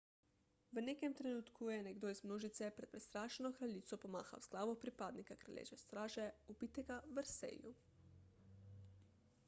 v nekem trenutku je nekdo iz množice pred prestrašeno kraljico pomahal z glavo pripadnika kraljeve straže ubitega v versaillesu